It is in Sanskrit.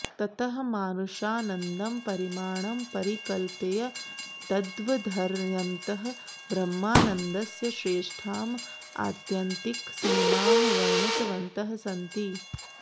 ततः मानुषानन्दं परिमाणं परिकल्प्य तद्वर्धयन्तः ब्रह्मानन्दस्य श्रेष्ठाम् आत्यन्तिकसीमां वर्णितवन्तः सन्ति